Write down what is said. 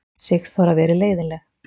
Sigþóra verið leiðinleg.